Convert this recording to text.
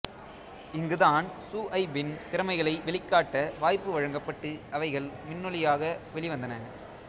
இங்கு தான் சுஐபின் திறமைகளை வெளிகாட்ட வாய்ப்பு வழங்கப்பட்டு அவைகள் மின்னொலியாக வெளிவந்தன